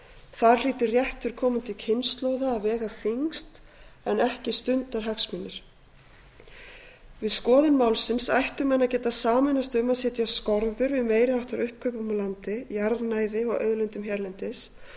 þar hlýtur réttur komandi kynslóða að vega þyngst en ekki stundarhagsmunir við skoðun málsins ættu menn að geta sameinast um að setja skorður við meiri háttar uppkaupum á landi jarðnæði og auðlindum hérlendis